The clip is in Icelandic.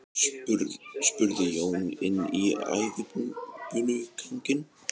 spurði Jón inn í æðibunuganginn.